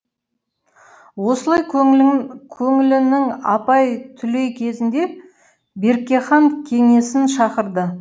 осылай көңілінің алай түлей кезінде берке хан кеңесін шақырды